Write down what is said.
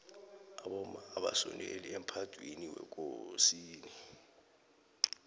abomma abasondeli emphadwiniwekosini